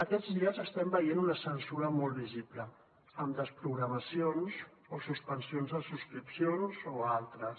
aquests dies estem veient una censura molt visible amb desprogramacions o suspensions de subscripcions o altres